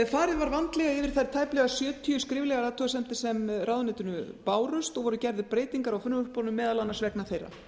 farið var vandlega yfir þær tæplega sjötíu skriflegu athugasemdir sem ráðuneytinu bárust og voru gerðar breytingar á frumvörpunum meðal annars vegna þeirra